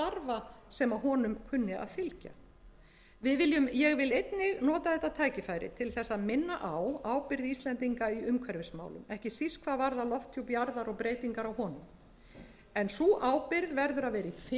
starfa sem honum kunni að fylgja ég vil einnig nota þetta tækifæri til þess að minna á ábyrgð íslendinga í umhverfismálum ekki síst hvað varðar lofthjúp jarðar og breytingar á honum en sú ábyrgð verður að